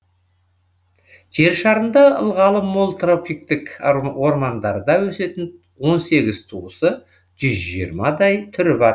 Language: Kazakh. жер шарында ылғалы мол тропиктік ормандарда өсетін он сегіз туысы жүз жиырмадай түрі бар